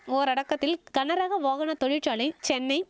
ஓரடக்கத்தில் கனரக வாகன தொழிற்சாலை சென்னை